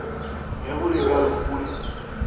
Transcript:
ge go le bjalo mpule